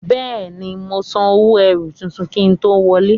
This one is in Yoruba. Béè ni, mo san owó erù tuntun kí n tó wọlé.